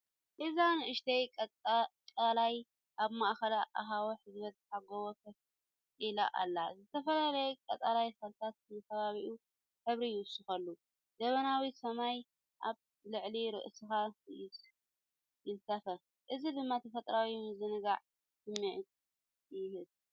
እዚ ንእሽቶ ቀላይ ኣብ ማእከል ኣኻውሕ ዝበዝሖ ጎቦ ኮፍ ኢላ ኣላ፤ ዝተፈላለዩ ቀጠልያ ተኽልታት ንከባቢኡ ሕብሪ ይውስኹሉ። ደበናዊ ሰማይ ኣብ ልዕሊ ርእስኻ ይንሳፈፍ፣ እዚ ድማ ተፈጥሮኣዊ ምዝንጋዕ ስምዒት ይህብ።